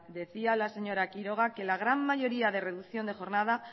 decía la señora quiroga que la gran mayoría de reducción de jornada